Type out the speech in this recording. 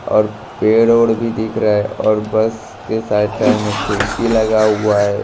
और पेड़ ओड़ भी दिख रहा है और बस के साइड साइड में खिड़की लगा हुआ हैं।